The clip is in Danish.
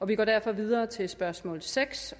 vi går derfor videre til spørgsmål seks